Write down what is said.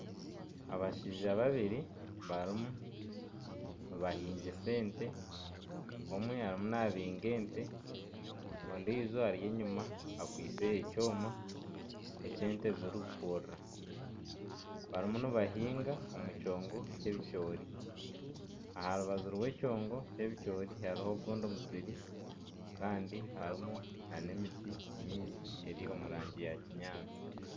Abashaija babiri barimu nibahingisa ente. Omwe arimu nabinga ente, ondiijo ari enyima akwitse ekyoma eky'ente zirikukurura. Barimu nibahinga omu kyongo ky'obucoori. Aha rubaju rw'ekyongo ky'obucoori hariho ogundi musiri kandi harimu n'emiti mingi eri omu rangi ya kinyaatsi.